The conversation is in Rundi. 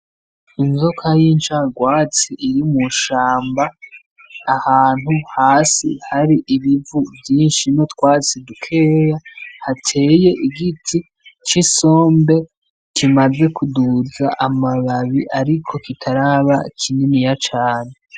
Inzoka y'incarwatsi iri mw'ishamba, ahantu hasi hari ibivu vyinshi n'utwatsi dukeya hateye igiti c'isombe kimaze kuduza amababi ariko kitaraba kininiya cane.